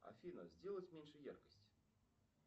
афина сделать меньше яркость